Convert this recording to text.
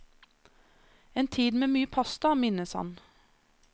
En tid med mye pasta, minnes han.